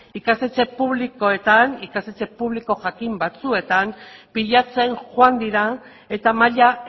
ikastetxe publikoetan ikastetxe publiko jakin batzuetan pilatzen joan dira eta maila